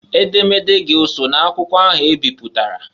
Edemede gị oso n' akwụkwọ ahụ ebiputara?